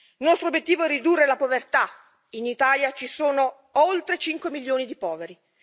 Il nostro obiettivo è ridurre la povertà, in Italia ci sono oltre 5 milioni di poveri